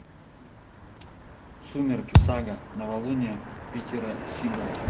сумерки сага новолуние питера сигала